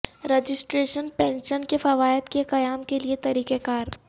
registration pension کے فوائد کے قیام کے لئے طریقہ کار